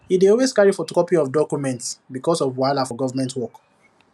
e dey always carry photocopy of documents because of wahala for government work